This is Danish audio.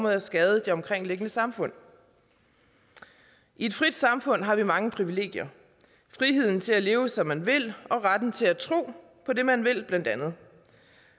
at skade det omkringliggende samfund i et frit samfund har vi mange privilegier friheden til at leve som man vil og retten til at tro på det man vil blandt andet